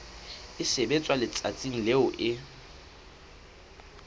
e sebetswa letsatsing leo e